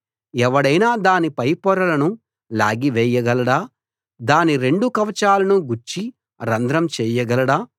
ఎవడైనా దాని పై పొరలను లాగివేయగలడా దాని రెండు కవచాలను గుచ్చి రంధ్రం చేయగలడా